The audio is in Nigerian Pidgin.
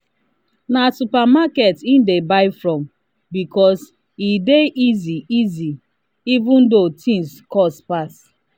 na supermarket he dey buy from because e dey easy easy even though things cost pass.